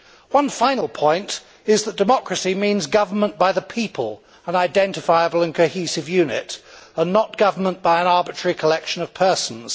One final point is that democracy means government by the people an identifiable and cohesive unit and not government by an arbitrary collection of persons.